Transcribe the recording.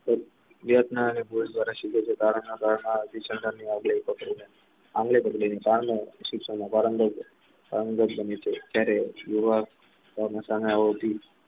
શિક્ષણ